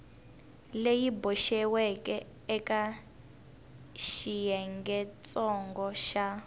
leyi boxiweke eka xiyengentsongo xa